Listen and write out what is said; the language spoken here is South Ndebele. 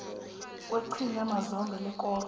kweqhinga mazombe lekoro